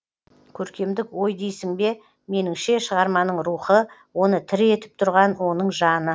көркемдік ой дейсің бе меніңше шығарманың рухы оны тірі етіп тұрған оның жаны